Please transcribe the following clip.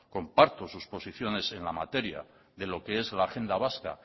comparto sus posiciones en la materia de lo qué es la agenda vasca